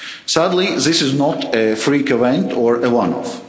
Sadly, this is not a freak event or a one